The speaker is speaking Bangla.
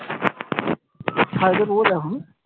ছাদে এখন